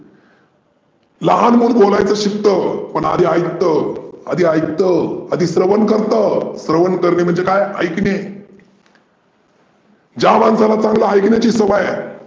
लहान मुल बोलायचं शिकत, पण आधी ऐकतो आधी ऐकतो आधी श्रवण करतो, श्रवण करणे म्हणजे काय? ऐकने ज्या मानसाला चांगल ऐकण्याची सवय आहे.